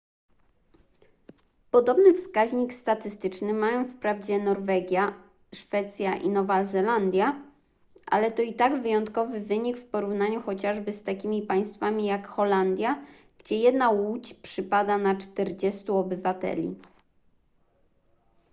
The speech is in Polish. podobny wskaźnik statystyczny mają wprawdzie norwegia szwecja i nowa zelandia ale to i tak wyjątkowy wynik w porównaniu chociażby z takimi państwami jak holandia gdzie jedna łódź przypada na czterdziestu obywateli